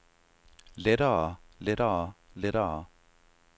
lettere lettere lettere